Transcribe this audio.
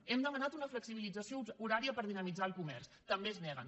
hem demanat una flexibilització horària per dinamitzar el comerç també s’hi neguen